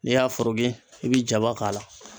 N'i y'a foroki e bi jaba k'a la